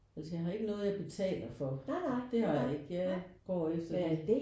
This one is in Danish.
Altså jeg har ikke noget jeg betaler for. Det har jeg ikke jeg går efter det